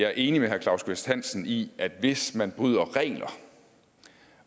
er enig med herre claus kvist hansen i at hvis man bryder regler